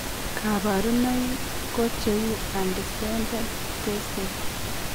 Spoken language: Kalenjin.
Kabarunaik ko cheuu undescended testes